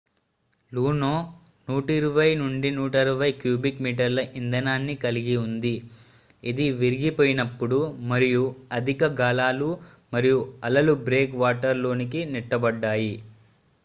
లూనో 120-160 cubic మీటర్ల ఇంధనాన్ని కలిగి ఉంది ఇది విరిగిపోయినప్పుడు మరియు అధిక గాలులు మరియు అలలు బ్రేక్ వాటర్ లోనికి నెట్టబడ్డాయి